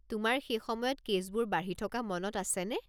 তোমাৰ সেই সময়ত কে'ছবোৰ বাঢ়ি থকা মনত আছেনে?